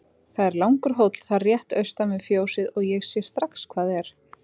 Það er langur hóll þar rétt austan við fjósið og ég sé strax hvað er.